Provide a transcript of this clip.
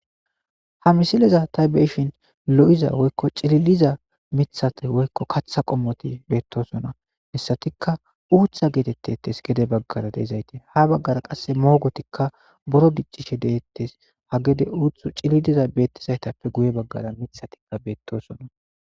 ha misileza ta beishin lo7iza woykko cililiza mithate woykko katha qommoti beettosona hesatikka uutha geetettetes gede baggara deizayti ha baggara qasse moogotikka boro giccishe detettes ha gede uuthu cililiza bettizaytappe guye baggara mithatia beettosona